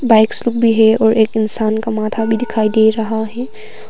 Bikes लोग भी है और एक इंसान का माथा भी दिखाई दे रहा है।